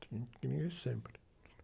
Tem que sempre.